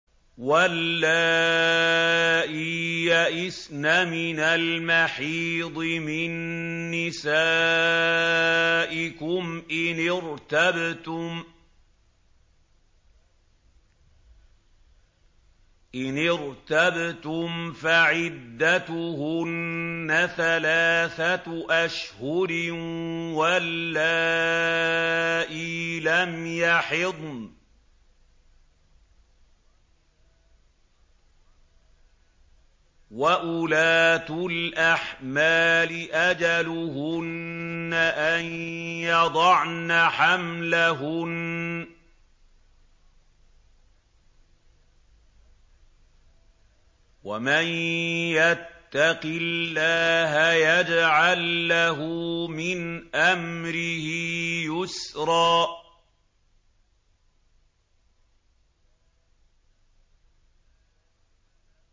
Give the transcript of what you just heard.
وَاللَّائِي يَئِسْنَ مِنَ الْمَحِيضِ مِن نِّسَائِكُمْ إِنِ ارْتَبْتُمْ فَعِدَّتُهُنَّ ثَلَاثَةُ أَشْهُرٍ وَاللَّائِي لَمْ يَحِضْنَ ۚ وَأُولَاتُ الْأَحْمَالِ أَجَلُهُنَّ أَن يَضَعْنَ حَمْلَهُنَّ ۚ وَمَن يَتَّقِ اللَّهَ يَجْعَل لَّهُ مِنْ أَمْرِهِ يُسْرًا